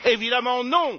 Évidemment, non!